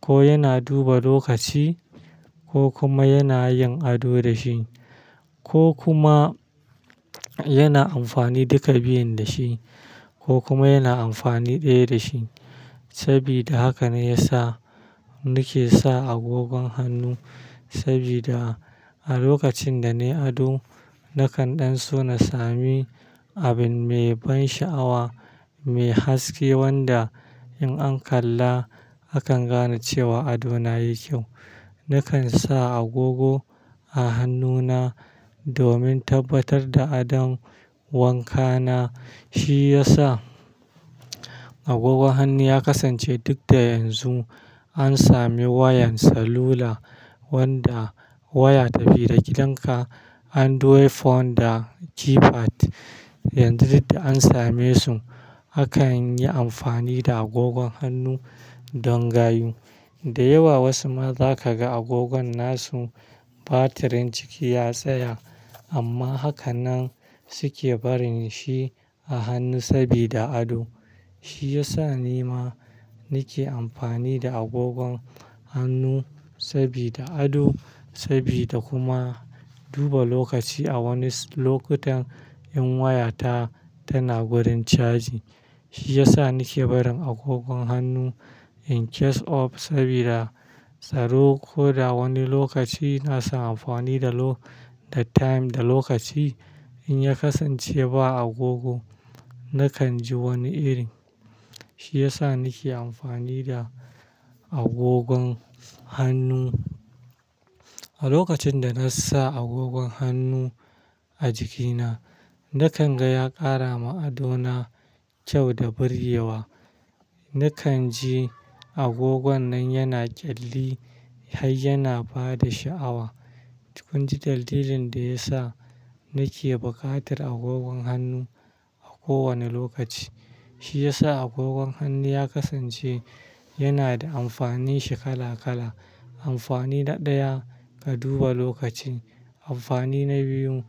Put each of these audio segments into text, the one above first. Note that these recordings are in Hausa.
ko yana duba lokaci ko kuma yana yin ado da shi ko kuma yana amfani duka biyun da shi ko kuma yana amfani ɗaya da shi. Saboda haka ne ya sa ni ke sa agogon hannu saboda a lokacin da na yi ado, nakan ɗan so na sami abin mai ban sha'awa, mai haske wanda in an kalla, akan gane cewa ado na ya yi kyau. Nakan sa agogo a hannuna domin tabbatar da adon wanka na. Shi ya sa agogon hannu ya kasance duk da yanzu an sami wayan salula wanda waya ta fi da gidanka android phone da keypad. Yanzu duk da an same su, akan yi amfani da agogon hannu don gayu. Da yawa wasu ma zaka ga agogon nasu batirin ciki ya tsaya amma haka nan su ke barin shi a hannu sabida ado. Shi ya sa ni ma, ni ke amfani da agogon hannu sabida ado sabida kuma duba lokaci a wani lokutan in waya ta tana gurin caji. Shi ya sa ni ke barin agogon hannu in case of sabida tsaro ko da wani lokaci ina son amfani da time, da lokaci in ya kasance ba agogo, nakan ji wani iri. Shi ya sa ni ke amfani da agogon hannu. A lokacin da na sa agogon hannu a jikina, nakan ga ya ƙara ma ado na kyau da birgewa. Nakan ji agogon nan yana ƙyalli har yana ba da sha'awa. Kun ji dalilin da ya sa ni ke buƙatar agogon hannu a kowane lokaci. Shi ya sa agogon hannu ya kasance yana da amfani shi kala kala. Amfani ɗaya, ka duba lokaci. Amfani na biyu,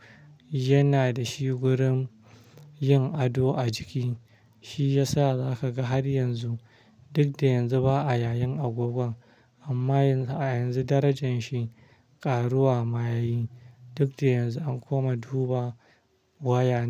yana da shi gurin yin ado a jiki. Shi ya sa za ka ga har yanzu, duk da yanzu ba a yayin agogon amma a yanzu darajar shi ƙaruwa ma yayi. Duk da yanzu an kuma duba waya ne.